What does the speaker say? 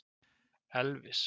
Elvis